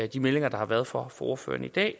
de meldinger der har været fra ordførerne i dag